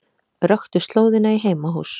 Röktu slóðina í heimahús